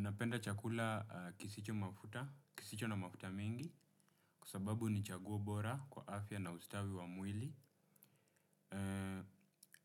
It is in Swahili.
Napenda chakula kisicho mafuta kisicho na mafuta mingi kwa sababu ni chaguo bora kwa afya na ustawi wa mwili.